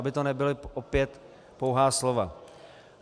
Aby to nebyla opět pouhá slova.